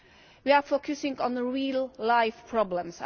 We are focusing on the real-life problems.